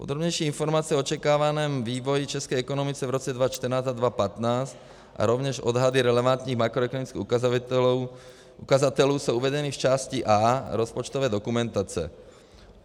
Podrobnější informace o očekávaném vývoji české ekonomiky v roce 2014 a 2015 a rovněž odhady relevantních makroekonomických ukazatelů jsou uvedeny v části A rozpočtové dokumentace.